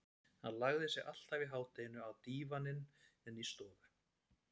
Hann lagði sig alltaf í hádeginu á dívaninn inni í stofu.